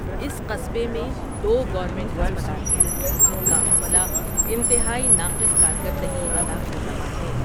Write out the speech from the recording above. اس قصبے میں دو گورنمنٹ ہسپتال ہیں جن کا عملہ انتہائی ناقص کارکردگی ادا کررہا ہے ۔